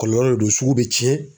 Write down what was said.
Kɔlɔlɔ de don sugu be tiɲɛ